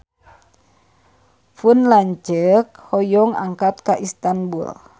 Pun lanceuk hoyong angkat ka Istanbul